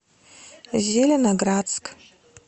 зеленоградск